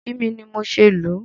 Kò kí mi ni mo ṣe lù ú.